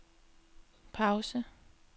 pause